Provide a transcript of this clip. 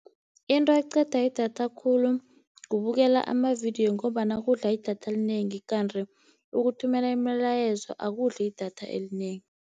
Into eqeda idatha khulu kubukela amavidiyo, ngombana kudla idatha elinengi. Kanti ukuthumela imilayezo akudli idatha elinengi.